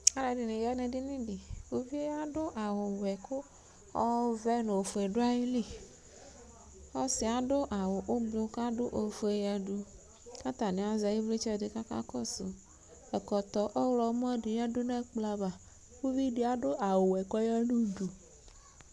Alʋɛdini yanʋ edini di ʋvidi adʋ awʋwɛ kʋ ɔvɛ nʋ ofue dʋ ayili ɔsi yɛ adʋ awʋ ʋblʋ kʋ adʋ ofue yadʋ kʋ atani azɛ iviltsɛ di kʋ akakɔsʋ ɛkɔtɔ ɔwlɔmɔsʋ di yadʋ nʋ ɛkplɔ ava ʋvidi adʋ awʋwɛ kʋ ɔyanʋ ʋdʋ